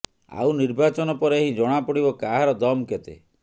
ଆଉ ନିର୍ବାଚନ ପରେ ହିଁ ଜଣାପଡିବ କାହାର ଦମ୍ କେତେ